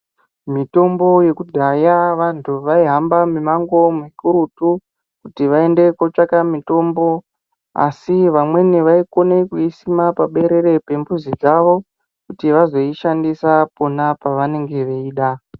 Mutombo yekudhaya vantu vaihamba mumango mukurutu kuti vaende kotsvake mutombo asi vamweni vaikona kuisisma paberere pembuzi dzawo kuti vazoishandisa pona pavanenge veida.